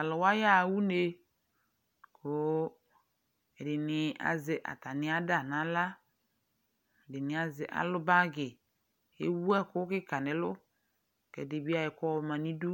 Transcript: Taluwa yaha uné Ku ɛdi azɛ ata mia ada na aɣla Ɛdini alu bagi Éwu ɛkukika nu ɛlu Kɛ ɛdi ayɔ ɛku yɔma nu idu,